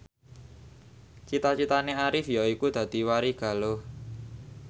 cita citane Arif yaiku dadi warigaluh